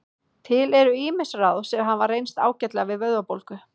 Til eru ýmis ráð sem hafa reynst ágætlega við vöðvabólgu.